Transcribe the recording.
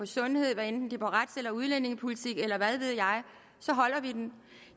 sundhed hvad enten det er om rets eller udlændingepolitik eller hvad ved jeg så holder vi den